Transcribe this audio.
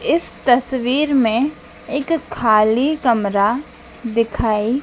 इस तस्वीर में एक खाली कमरा दिखाई--